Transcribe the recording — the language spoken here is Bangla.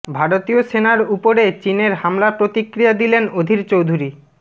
ভারতীয় সেনার উপরে চিনের হামলা প্রতিক্রিয়া দিলেন অধীর চৌধুরী